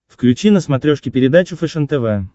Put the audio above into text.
включи на смотрешке передачу фэшен тв